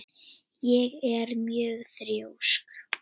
Ég er mjög þrjósk.